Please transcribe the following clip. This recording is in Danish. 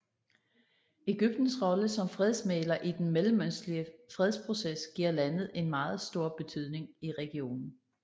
Egyptens rolle som fredsmægler i den mellemøstlige fredsproces giver landet en meget stor betydning i regionen